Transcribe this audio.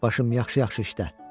Başım yaxşı-yaxşı işlə.